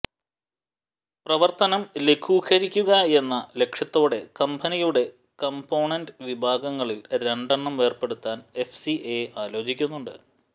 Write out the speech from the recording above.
പ്രവർത്തനം ലഘൂകരിക്കുകയെന്ന ലക്ഷ്യത്തോടെ കമ്പനിയുടെ കംപോണന്റ് വിഭാഗങ്ങളിൽ രണ്ടെണ്ണം വേർപെടുത്താൻ എഫ് സി എ ആലോചിക്കുന്നുണ്ട്